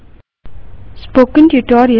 slide पर जाएँ